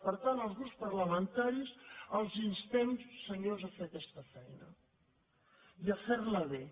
per tant els grups parlamentaris els instem senyors a fer aquesta feina i a fer la bé